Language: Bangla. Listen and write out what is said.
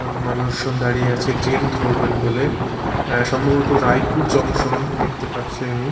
মানুষজন দাঁড়িয়ে আছে ট্রেন ধরবেন বলে অ্যা সম্ভবত রায়পুর জংশন দেখতে পাচ্ছি আমি।